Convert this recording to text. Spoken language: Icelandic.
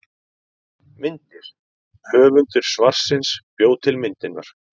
Myndir: Höfundur svarsins bjó til myndirnar.